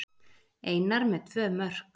Einar með tvö mörk